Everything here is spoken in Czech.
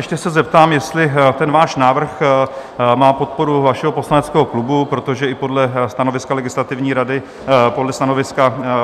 Ještě se zeptám, jestli ten váš návrh má podporu vašeho poslaneckého klubu, protože i podle stanoviska